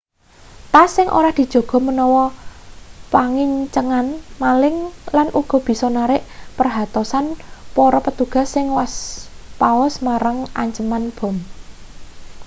tas sing ora dijaga menawa pangincengan maling lan uga bisa narik perhatosan para petugas sing waspaos marang anceman bom